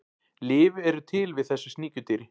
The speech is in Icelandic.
Lyf eru til við þessu sníkjudýri.